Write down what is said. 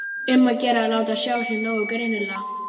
Um að gera að láta sjá sig nógu greinilega!